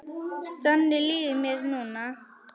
Þannig líður mér núna.